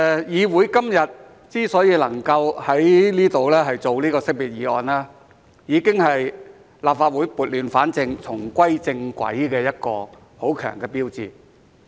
議會今天之所以能夠在這裏辯論告別議案，已經是立法會撥亂反正，重歸正軌的一個很強的標誌。